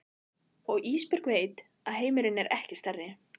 Og Ísbjörg veit að heimurinn er ekki stærri.